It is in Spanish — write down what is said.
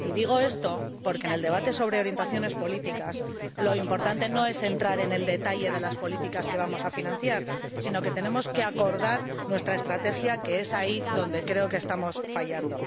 Y digo esto porque, en el debate sobre orientaciones políticas, lo importante no es entrar en el detalle de las políticas que vamos a financiar, sino acordar nuestra estrategia, que es ahí donde creo que estamos fallando.